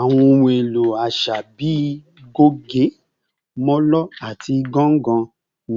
Awọn ohun elo aṣa bii goge, molo, ati ganga